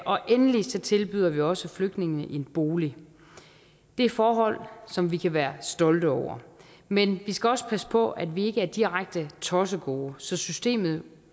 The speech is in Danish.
og endelig tilbyder vi også flygtninge en bolig det er forhold som vi kan være stolte over men vi skal også passe på at vi ikke er direkte tossegode så systemet